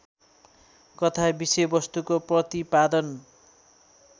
कथा विषयवस्तुको प्रतिपादन